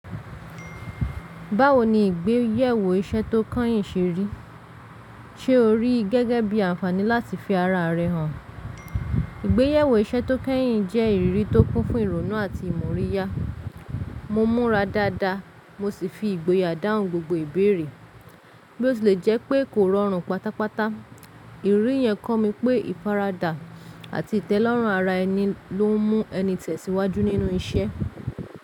Báwo ni ìgbéyèwò iṣẹ́ tó kányìn ṣe rí? Ṣé o rí i gẹ́gẹ́ bí àǹfààní láti fi ara rẹ̀ hàn? Ìgbéyèwò iṣẹ́ tó kányìn jẹ́ ìrírí tó kún fún ìrònú àti ìmóríyá. Mo múra dáadáa mo sì fi ìgboyà dáhùn gbogbo ìbéèrè, bí ó tí lẹ̀ jẹ́ pé kò rọrùn pátápátá. Ìrírí yẹn kọ́ mi pé ìfaradà àti ìtẹ́lọ́rùn ara ẹni ló ń mú ẹni tẹ̀síwájú nínú iṣẹ́.